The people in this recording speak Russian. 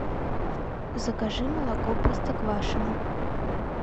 закажи молоко простоквашино